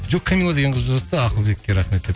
жоқ қамилла деген қыз жазыпты ақылбекке рахмет деп